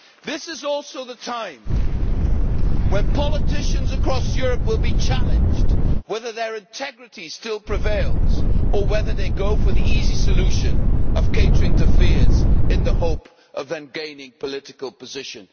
This is also the time when politicians across Europe will be challenged on whether their integrity still prevails or whether they go for the easy solution of catering to fears in the hope of then gaining political position.